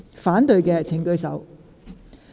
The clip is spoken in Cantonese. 反對的請舉手。